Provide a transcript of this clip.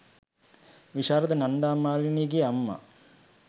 විශාරද නන්දා මාලිනියගේ අම්මා